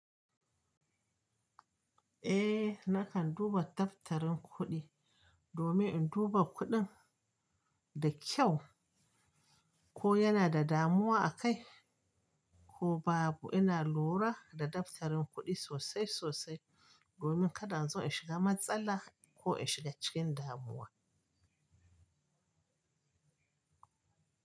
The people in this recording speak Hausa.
Eh nakan duba daftarin kuɗi domin in duba kuɗin da kyau ko yana da damuwa akai ko babu. Ina lura da daftarin kuɗi sosai sosai domin kada azo in shiga matsala ko in shiga cikin damuwa.